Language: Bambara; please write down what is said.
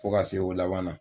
Fo ka se o laban na.